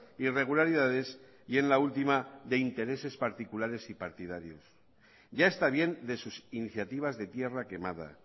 irregularidades y en la última de intereses particulares y partidarios ya está bien de sus iniciativas de tierra quemada